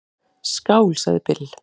"""Skál, sagði Bill."""